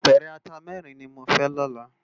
Ápèrè àtá mèrin ni mó fè lòlá